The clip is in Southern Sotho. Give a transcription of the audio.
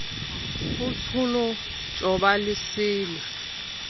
hotsholo tjhoba le se le